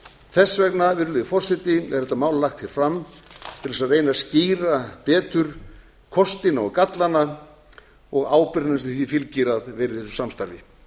þess vegna virðulegi forseti er þetta mál lagt hér fram til þess að reyna að skýra betur kostina og gallana og ábyrgðina sem því fylgir að vera í